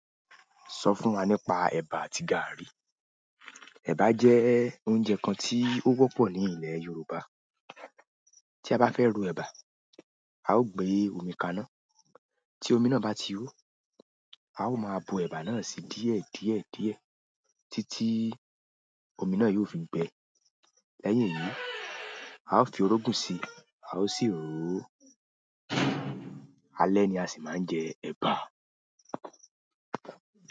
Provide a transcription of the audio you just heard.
Sọ fún wa nípa ẹ̀bà àti gààrí. Ẹ̀bà jẹ́ oúnjẹ kan tí ó wọ́pọ̀ ní ilè Yorùbá. Tí a bá fẹ́ ro ẹ̀bà, a ó gbé omi kaná, tí omi náà bá ti hó, a ó máa bo ẹ̀bà náà síí díẹ̀ díẹ̀ díẹ̀ títí omi náà yóò fi bẹ. Lẹ́yìn èyí, a ó fi orógun si, a ó sì ró. Alẹ́ ni a sì máa ń jẹ ẹ̀bà.